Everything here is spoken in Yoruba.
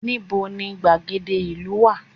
Ní bo ni gbàgede ìlú wà